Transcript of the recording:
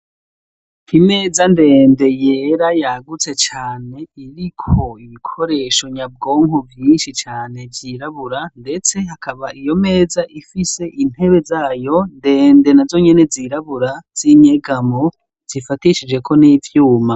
Imeza ndende yera yagutse cane iriko ibikoresho nyabwonko vyinshi cane vyirabura, ndetse hakaba iyo meza ifise intebe zayo ndende na zo nyene zirabura z'inyegamo zifatishijeko n'ivyuma.